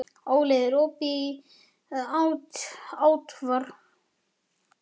Óli, er opið í ÁTVR?